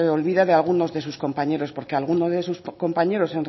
olvida de algunos de sus compañero porque alguno de sus compañeros